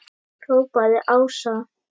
hrópaði Ása.